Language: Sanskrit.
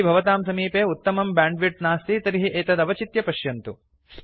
यदि भवतां समीपे उत्तमं बैण्डविड्थ नास्ति तर्हि एतत् अवचित्य पश्यतु